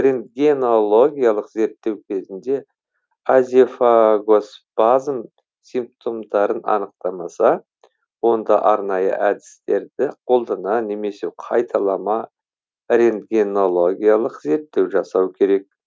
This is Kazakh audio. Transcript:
рентгенологиялық зерттеу кезінде азефагоспазм симптомдарын анықтамаса онда арнайы әдістерді қолдана немесе қайталама рентгенологиялық зерттеу жасау керек